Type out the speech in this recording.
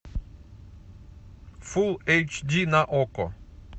фул эйч ди на окко